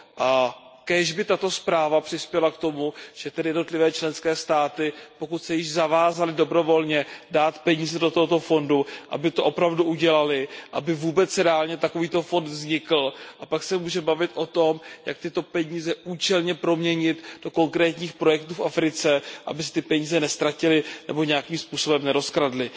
A kéž by tato zpráva přispěla k tomu, že by tedy jednotlivé členské státy, pokud se již zavázaly dobrovolně dát peníze do tohoto fondu, aby to opravdu udělaly, aby vůbec reálně takovýto fond vznikl, a pak se můžeme bavit o tom, jak tyto peníze účelně proměnit do konkrétních projektů v Africe, aby se ty peníze neztratily nebo nějakým způsobem nerozkradly.